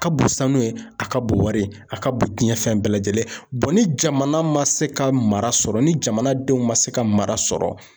Ka bon sanu ye, a ka bon wari ye, a ka bon cɛn fɛn bɛɛ lajɛlen ni jamana ma se ka mara sɔrɔ, ni jamana denw ma se ka mara sɔrɔ